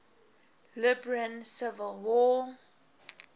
liberian civil war